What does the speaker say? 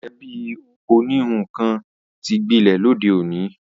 Ẹ̀bí oníhun kan ti gbilẹ̀ lóde òní